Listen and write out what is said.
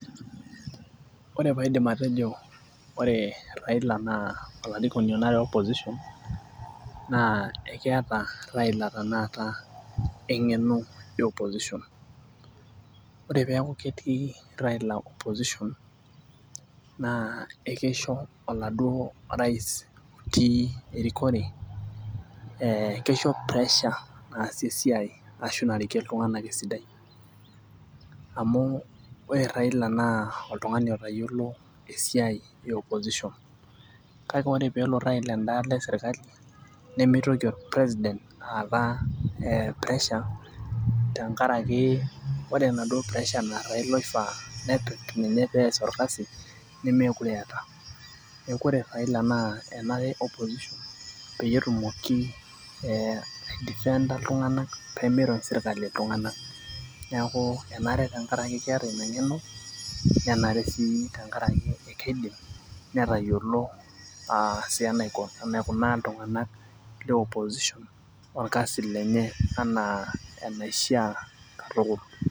Ore pee aidim atejo ore Raila naa olarikoni onare opposition naa akeeta Raila tenakata engeno e opposition .ore peeku ketii Raila opposition naa ekeisho oladuok rais otii erikore, keIsho pressure naasie esiai ashu narikie iltung'anak esidai. amu ore Raila naa oltungani otayiolo, esiai e opposition kake ore pee elo Raila eda alo esirkali nemeitoki ol president aata ee pressure tenkaraki ore enaduoo pressure naa Raila oofaa nepik ninye pees orkasi nemeeku eeta. neeku ore Raila naa enare opposition peyie etumoki ee ai defender iltung'anak pee mirony serkali iltung'anak. neeku enare tenkaraki keeta Ina ngeno. nenare sii tenkaraki keidim netayiolo aa sii enaikunaa iltung'anak le opposition orkasi lenye anaa enaishaa katukul.